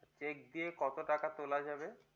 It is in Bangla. check দিয়ে কত টাকা তোলা যাবে?